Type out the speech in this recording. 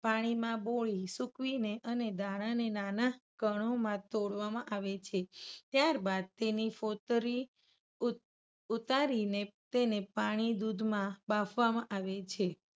પાણીમાં બોળી સુકવીને અને દાણાને નાના કણોમાં તોડવામાં આવે છે. ત્યારબાદ તેની ફોતરી ઉત-ઉતારીને તેને પાણી-દુધમાં બાફવામાં આવે છે.